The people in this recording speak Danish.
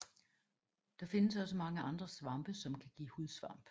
Der findes også mange andre svampe som kan give hudsvamp